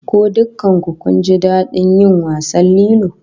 Ko dukkan ku kun ji dadin yin wasan lilo?